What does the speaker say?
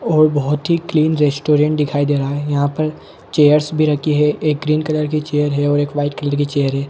-- और बहुत ही क्लीन रेस्टुरेंट दिखाई दे रहा है यहाँ पर चैरस भी रखे हुए है एक ग्रीन कलर की चेयर है और एक व्हिट कलर की चेयर है।